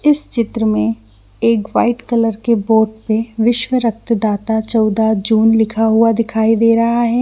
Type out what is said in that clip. इस चित्र में एक वाइट कलर के बोर्ड पे विश्वा रक्त दाता चौदह जून लिखा हुआ दिखाई दे रहा है ।